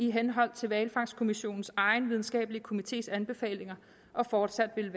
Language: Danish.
i henhold til hvalfangstkommissionens egen videnskabelige komités anbefalinger og fortsat vil